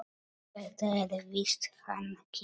Þetta er víst hann Kiljan.